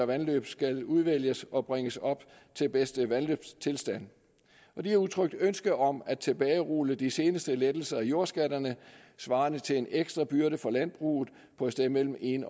vandløb skal udvælges og bringes op til bedste vandløbstilstand og de har udtrykt ønske om at tilbagerulle de seneste lettelser i jordskatterne svarende til en ekstra byrde for landbruget på et sted mellem en